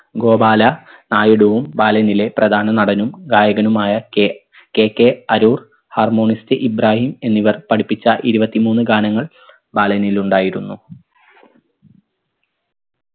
ഗോപാല നായിഡുവും ബാലനിലെ പ്രധാന നടനും ഗായകനുമായ K KK Arur harmonist Ibrahim എന്നിവർ പഠിപ്പിച്ച ഇരുവത്തിമൂന്ന് ഗാനങ്ങൾ ബാലനിലുണ്ടായിരുന്നു